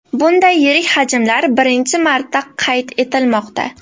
Bunday yirik hajmlar birinchi marta qayd etilmoqda.